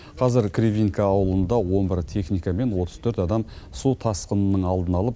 қазір кривинка ауылында он бір техника мен отыз төрт адам су тасқынының алдын алып